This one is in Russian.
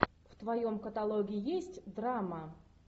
в твоем каталоге есть драма